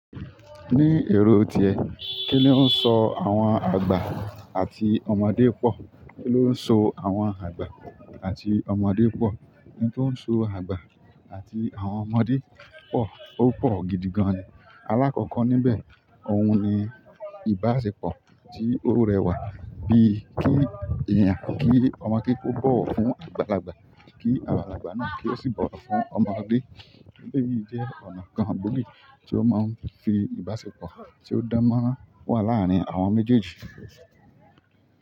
Ní èrò tiẹ, kí ló ń so àwọn àgbà àti ọmọdé pọ̀? Kí ló ń so àwọn àgbà àti ọmọdé pọ̀? Ohun tó ń so àgbà àti àwọn ọmọdé pọ̀, ó pọ̀ gidi gan-an. Alákọ̀ọ́kọ níbẹ̀, òun ni ìbáṣepọ̀ tí ó rẹwà bí kí èèyàn, kí ọmọ ké kó bọ̀wọ̀ fún àgbàlagbà, kí àgbàlagbà náà kí ó sì bọ̀wọ̀ fún ọmọdé. Eleyi jẹ́ ọ̀nà kan gbóògì tí ó máa ń fi ìbáṣepọ̀ tí ó dan mọran wà láàárín àwọn méjèèjì.